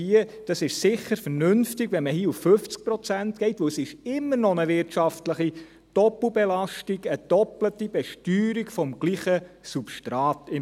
Hier ist es sicher vernünftig, wenn man auf 50 Prozent geht, denn es ist immer noch eine wirtschaftliche Doppelbelastung und im Prinzip eine doppelte Besteuerung desselben Substrats.